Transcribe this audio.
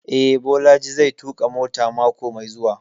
Eh, Bolaji zai tuƙa mota mako mai zuwa